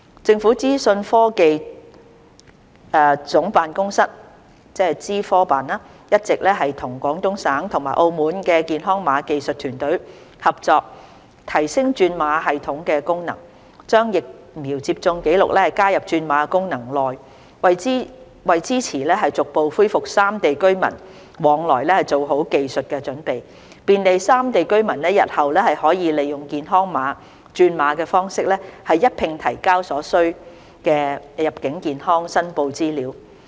政府資訊科技總監辦公室一直亦與廣東省和澳門的健康碼技術團隊合作提升轉碼系統的功能，將疫苗接種紀錄加入轉碼功能內，為支持逐步恢復三地居民往來做好技術準備，便利三地居民日後可利用"健康碼"轉碼方式一併提交所需的入境健康申報資料。